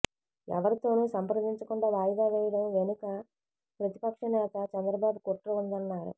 ఎవరితోనూ సంప్రదించ కుండా వాయిదా వేయడం వెనుక ప్రతిపక్ష నేత చంద్రబాబు కుట్ర ఉందన్నారు